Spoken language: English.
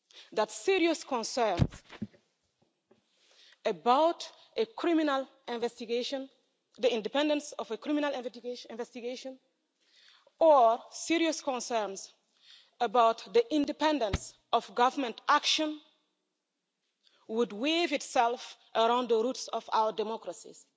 that serious concerns about a criminal investigation, the independence of a criminal investigation, or serious concerns about the independence of government action would weave itself around the roots of our democracies.